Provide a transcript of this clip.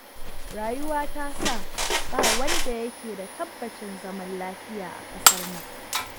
Rayuwa ta sa ba wanda ya ke da tabbacin zaman lafiya a ƙasar nan.